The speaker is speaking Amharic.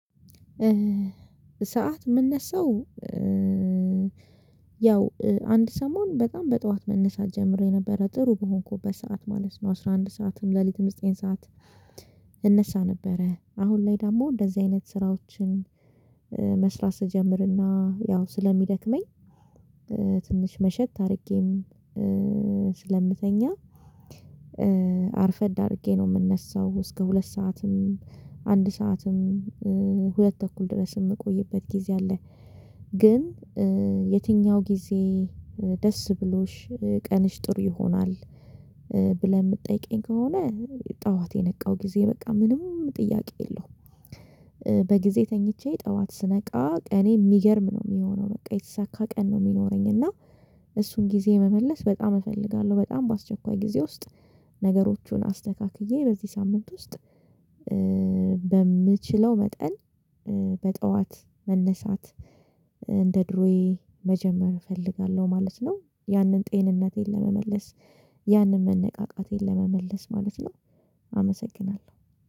ሰዓት የምነሳው ያው አንድ ሰሞን በጣም በጠዋት መነሳት ጀምሬ ነበረ፤ ጥሩ በሆንኩበት ሰዓት ማለት ነው። አስራ አንድ ሰዓትም፤ ሌሊትም ዘጠኝ ሰዓት እነሳ ነበረ አሁን ላይ ደግሞ እንደዚህ አይነት ስራዎችን መስራት ስጀምርና ያው ስለሚደክመኝ፤ ትንሽ መሸት አድርጌም ስለምተኛ፤ አርፈድ አድርጌ ነው የምነሳው። እስከ ሁለት ሰዓትም፤ አንድ ሰዓትም፤ ሁለት ተኩል ድረስ የምቆይበት ጊዜ አለ። ግን የትኛው ጊዜ ደስ ብሎሽ ቀንሽ ጥሩ ይሆናል? ብለህ የምትጠይቀኝ ከሆነ ጠዋት የነቃው ጊዜ በቃ ምንም ጥያቄ የለውም። በጊዜ ተኝቼ ጠዋት ስነቃ እኔ የሚገርም ነው የሚሆነው በቃ የተሳካ ቀን ነው የሚኖረኝ። እና እሱን ጊዜ መመለስ በጣም እፈልጋለሁ። በጣም በአስቸኳይ ጊዜ ውስጥ ነገሮቹን አስተካክዬ በዚህ ሳምንት ውስጥ፤ በምችለው መጠን በጠዋት መነሳት እንደ ድሮዬ መጀመር እፈልጋለሁ ማለት ነው። ያንን ጤንነቴን ለመመለስ፤ ያንን መነቃቃቴን ለመመለስ ማለት ነው አመሰግናለሁ።